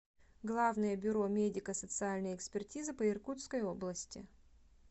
главное бюро медико социальной экспертизы по иркутской области